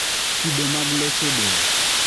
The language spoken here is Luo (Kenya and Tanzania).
kido mag leche del